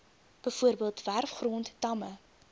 bv werfgrond damme